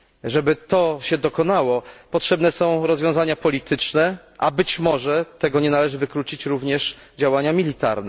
Żeby tak się stało, potrzebne są rozwiązania polityczne, a być może tego nie należy wykluczyć również działania wojskowe.